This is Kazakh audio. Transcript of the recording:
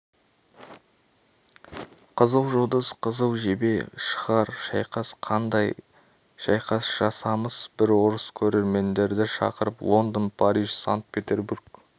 қызыл жұлдыз қызыл жебе шығар шайқас қандай шайқас жасамыс бір орыс көрермендерді шақырып лондон париж санкт-петербург